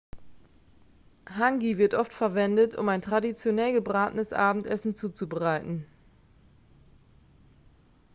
hangi wird oft verwendet um ein traditionell gebratenenes abendessen zuzubereiten